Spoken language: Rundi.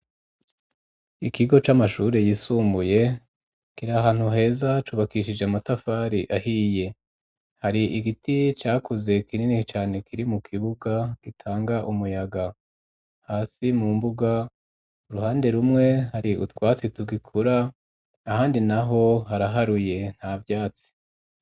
ikigo c'amashure yisumbuye kiri ahantu heza cubakishije amatafari ahiye. Hari igiti cakuze kinini cane kiri mu kibuga gitanga umuyaga hasi mu mbuga ,uruhande rumwe hari utwatsi tugikura ahandi naho haraharuye nta vyatsi.